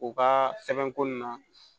U ka sɛbɛnko nun na